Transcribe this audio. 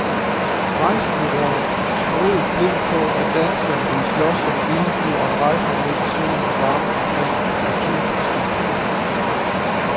Rejsebureauerne troede blindt på, at danskerne ville slås som vilde dyr om rejserne ned til solen og varmen omkring årtusindskiftet.